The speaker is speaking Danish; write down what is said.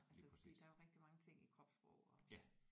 Altså fordi der er jo rigtig mange ting i kropssprog og